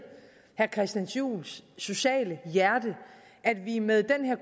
herre christian juhls sociale hjerte at vi med den her